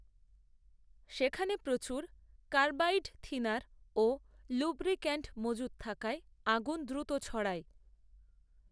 সেখানে প্রচুর কার্বাইডথিনার ও লুব্রিক্যান্ট মজুত থাকায় আগুন দ্রুত ছড়ায়